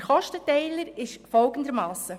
Der Kostenteiler ist folgendermassen: